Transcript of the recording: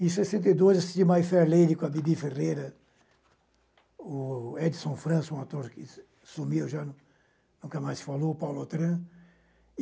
Em sessenta e dois, assisti a Mayferley com a Bibi Ferreira, o Edson Franço, um ator que su sumiu, nunca mais se falou, o Paulo Otran.